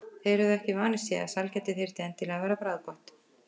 Þeir höfðu ekki vanist því að sælgæti þyrfti endilega að vera bragðgott.